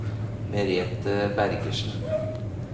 Merete Bergersen